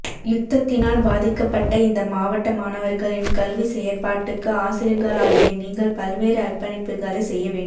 யுத்தத்தினால் பாதிக்கப்பட்ட இந்த மாவட்ட மாணவர்களின் கல்வி செயற்பாட்டுக்கு ஆசிரியர்களாகிய நீங்கள் பல்வேறு அர்ப்பணிப்புகளை செய்ய வேண்டும்